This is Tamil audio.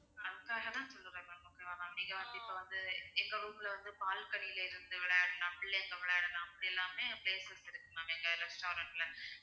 அதுக்காக தான் சொல்றேன் ma'am okay வா ma'am நீங்க வந்து இப்ப வந்து எங்க room ல வந்து balcony ல இருந்து விளையாடலாம் பிள்ளைங்க விளையாடலாம் அப்படி எல்லாமே places இருக்கு ma'am எங்க restaurant ல